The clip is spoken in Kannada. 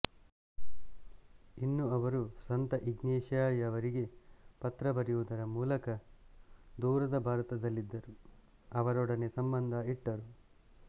ಇನ್ನು ಅವರು ಸಂತ ಇಗ್ನಾಸಿಯವರಿಗೆ ಪತ್ರ ಬರೆಯುವುದರ ಮೂಲಕ ದೂರದ ಭಾರತದಲ್ಲಿದ್ದರು ಅವರೊಡನೆ ಸಂಭಂದ ಇಟ್ಟರು